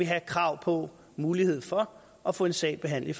have krav på muligheden for at få en sag behandlet